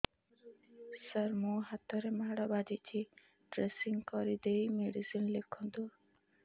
ସାର ମୋ ହାତରେ ମାଡ଼ ବାଜିଛି ଡ୍ରେସିଂ କରିଦେଇ ମେଡିସିନ ଲେଖନ୍ତୁ